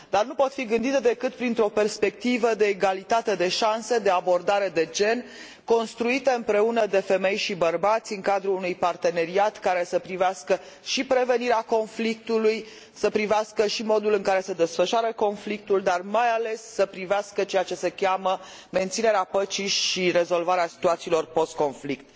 Dar nu pot fi gândite decât printr o perspectivă de egalitate de șanse, de abordare de gen, construite împreună de femei și bărbați în cadrul unui parteneriat care să privească și prevenirea conflictului, să privească și modul în care se desfășoară conflictul, dar mai ales să privească ceea ce se cheamă menținerea păcii și rezolvarea situațiilor post conflict.